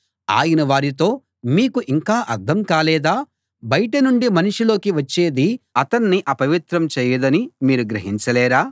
ఆయన వారితో మీకు ఇంకా అర్థం కాలేదా బయట నుండి మనిషిలోకి వచ్చేది అతన్ని అపవిత్రం చేయదని మీరు గ్రహించలేరా